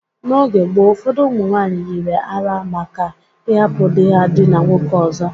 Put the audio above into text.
N’oge gboo, ụfọdụ ụmụ nwaanyị yiri àrá maka ịhapụ di ha diina nwoke ọzọ.